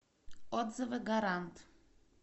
отзывы гарант